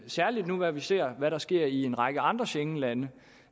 særlig nu hvor vi ser hvad der sker i en række andre schengenlande